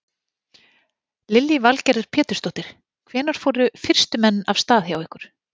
Lillý Valgerður Pétursdóttir: Hvenær fóru fyrstu menn af stað hjá ykkur?